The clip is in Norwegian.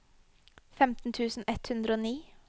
femten tusen ett hundre og ni